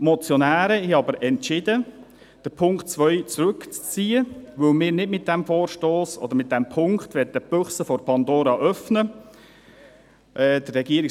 Die Motionäre haben entschieden, den Punkt 2 zurückzuziehen, da wir mit diesem Vorstoss, beziehungsweise mit diesem Punkt, nicht die Büchse der Pandora öffnen wollen.